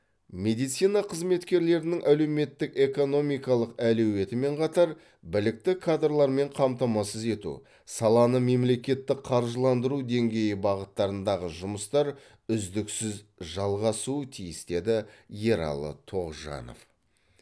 медицина қызметкерлерінің әлеуметтік экономикалық әлеуетімен қатар білікті кадрлармен қамтамасыз ету саланы мемлекеттік қаржыландыру деңгейі бағыттарындағы жұмыстар үздіксіз жалғасуы тиіс деді ералы тоғжанов